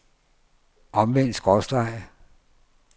omvendt skråstreg